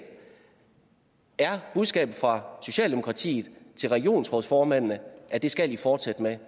er budskabet fra socialdemokratiet til regionsrådsformændene at det skal de fortsætte med